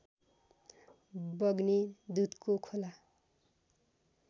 बग्ने दुधको खोला